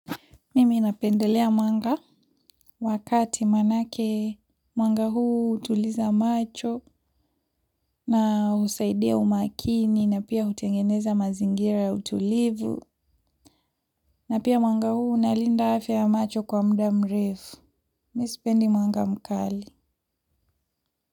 Mimi napendelea mwanga wa kati maanake mwanga huu hutuliza macho, na husaidia umakini na pia utengeneza mazingira ya utulivu na pia mwanga huu unalinda afya ya macho kwa muda mrefu. Mi sipendi mwanga mkali.